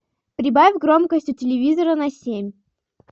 прибавь громкость у телевизора на семь